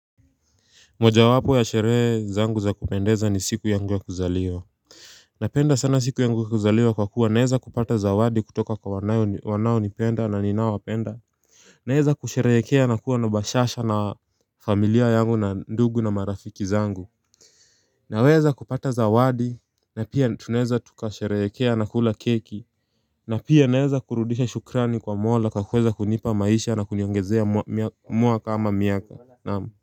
Moja wapo ya sherehe zangu za kupendeza ni siku yangu ya kuzaliwa Napenda sana siku yangu ya kuzaliwa kwa kuwa naeza kupata zawadi kutoka kwa wanao nipenda na niowapenda Naeza kusherehekea na kuwa na bashasha na familia yangu na ndugu na marafiki zangu Naweza kupata zawadi na pia tunaweza tukasherehekea na kula keki na pia naeza kurudisha shukrani kwa mola kwa kuweza kunipa maisha na kuniongezea mwaa ama miaka naam.